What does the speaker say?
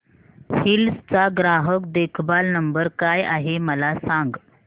hills चा ग्राहक देखभाल नंबर काय आहे मला सांग